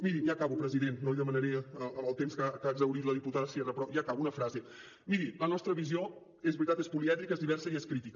miri ja acabo president no li demanaré el temps que ha exhaurit la diputada sierra però ja acabo una frase miri la nostra visió és veritat és polièdrica és diversa i és crítica